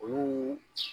Olu